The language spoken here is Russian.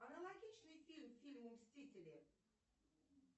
аналогичный фильм фильму мстители